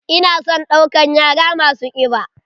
Ina son ɗaukan yara masu kiɓa.